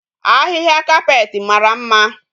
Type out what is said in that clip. Ahihia carpet mara mma